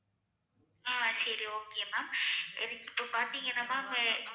ஆஹ் சரி okay ma'am எனக்கு இப்ப பாத்தீங்கன்னா ma'am